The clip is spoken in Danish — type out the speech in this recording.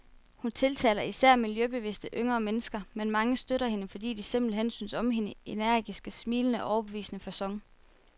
Hun tiltaler især miljøbevidste, yngre mennesker, men mange støtter hende, fordi de simpelthen synes om hendes energiske, smilende og overbevisende facon.